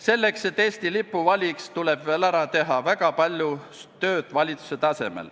Selleks, et ta Eesti lipu valiks, tuleb valitsuse tasemel ära teha veel väga palju tööd.